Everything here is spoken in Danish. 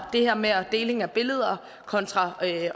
det her med deling af billeder kontra det at